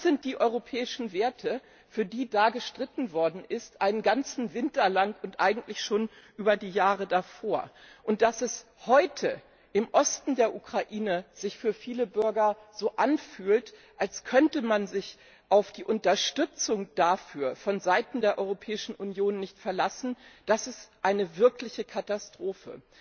Das sind die europäischen Werte, für die einen ganzen Winter lang und eigentlich schon über die Jahre davor gestritten worden ist. Dass es sich heute im Osten der Ukraine für viele Bürger so anfühlt, als könnte man sich auf die Unterstützung dafür von Seiten der Europäischen Union nicht verlassen, ist eine wirkliche Katastrophe.